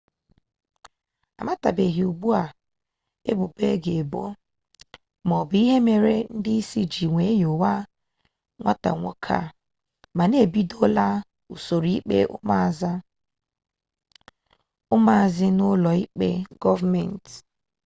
amatabeghi ugbu a ebubo a ga-ebo maọbụ ihe mere ndị isi ji wee nyowe nwata nwoke a mana ebidola usoro ikpe ụmụazị n'ụlọ ikpe gọọmenti